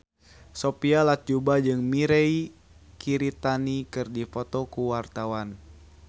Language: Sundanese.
Sophia Latjuba jeung Mirei Kiritani keur dipoto ku wartawan